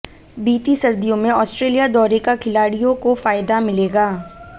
बीती सर्दियों में ऑस्ट्रेलिया दौरे का खिलाड़ियों को फायदा मिलेगा